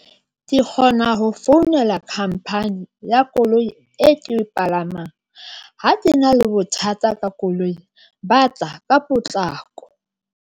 Ke kgona ho founela company ya koloi e ke palamang ha ke na le bothata ka koloi, ba tla ka potlako.